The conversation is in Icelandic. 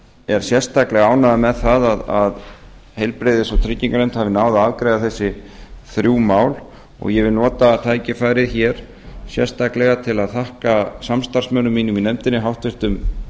er sérstaklega ánægður með það að heilbrigðis og trygginganefnd hafi náð að afgreiða þessi þrjú mál og ég vil nota tækifærið hér sérstaklega til að þakka samstarfsmönnum mínum í nefndinni háttvirtum